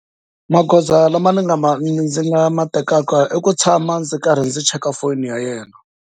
Magoza lama ni nga ndzi nga ma tekaka i ku tshama ndzi karhi ndzi cheka foni ya yena.